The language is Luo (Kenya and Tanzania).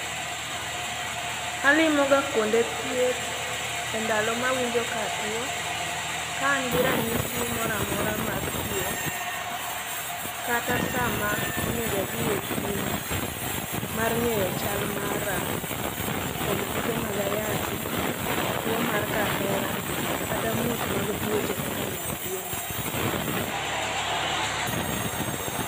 Alimo ga kuonde thieth e ndalo mawinjo katuo, ka an gi ranyisi moro amora mar tuo, kata sama onego adhi e pim, mar ng'eyo chal mara, kuom kute mag ayaki, tuo mar kahera, kata muoch mag tuoche kaka nyaldiema.